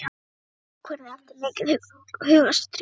Ég tók ákvörðun eftir mikið hugarstríð.